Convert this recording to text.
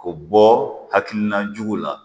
O bɔ hakilina jugu la